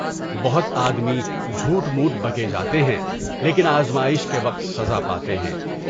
بہت آدمی جھوٹ موٹ بکے جاتے ہیں لیکن آزمائش کے وقت سزا پاتے ہیں۔